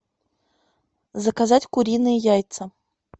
заказать куриные яйца